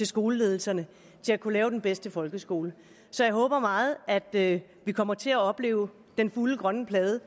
skoleledelserne til at kunne lave den bedste folkeskole så jeg håber meget at vi kommer til at opleve den fulde grønne plade